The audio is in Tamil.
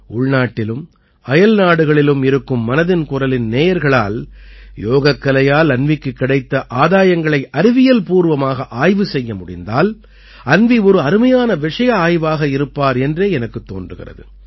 உள்நாட்டிலும் அயல்நாடுகளிலும் இருக்கும் மனதின் குரலின் நேயர்களால் யோகக்கலையால் அன்வீக்குக் கிடைத்த ஆதாயங்களை அறிவியல்பூவமாக ஆய்வு செய்ய முடிந்தால் அன்வீ ஒரு அருமையான விஷய ஆய்வாக இருப்பார் என்றே எனக்குத் தோன்றுகிறது